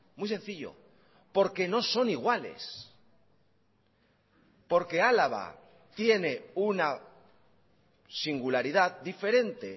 muy sencillo porque no son iguales porque álava tiene una singularidad diferente